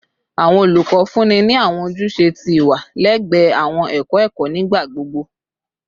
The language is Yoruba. Awọn olukọ funni ni awọn ojuse ti iwa lẹgbẹẹ awọn ẹkọ ẹkọ nigbagbogbo.